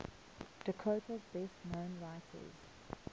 dakota's best known writers